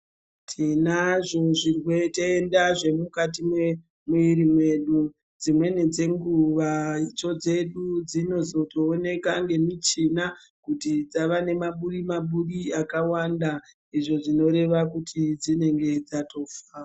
Tinazvo zvitenda zvemukati mwemwi mwedu. Dzimweni dzenguva itsvo dzedu dzinozotooneka nemichina kuti dzava nemaburi-maburi akawanda. Izvo zvinoreva kuti dzinonga dzatofa.